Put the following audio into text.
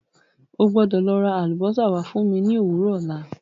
O gbọ́dọ̀ lọ ra àlùbósà wá fún mi ní òwúrọ̀ ọ̀la.